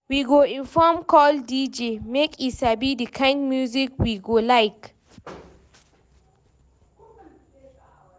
We go inform call DJ make e sabi the kind music we go like.